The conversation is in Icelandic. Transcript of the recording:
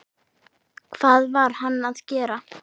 Hvað var hann að gera?